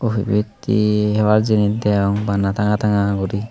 ebet he hebar jinish deyong bana tanga tanga guri.